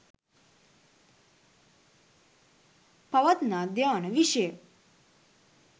පවත්නා ධ්‍යාන විෂය